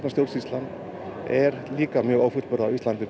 stjórnsýslan er líka mjög ófullburða á Íslandi